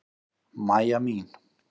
Mæja mín!